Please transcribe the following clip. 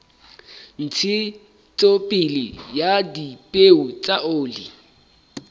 ntshetsopele ya dipeo tsa oli